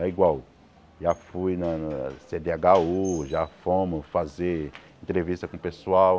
É igual, já fui na na Cê Dê agá ú, já fomos fazer entrevista com o pessoal.